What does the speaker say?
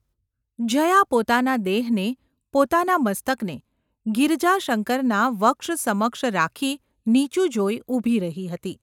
જયા પોતાના દેહને, પોતાના મસ્તકને ગિરજાશંકરના વક્ષ સમક્ષ રાખી નીચું જોઈ ઊભી રહી હતી.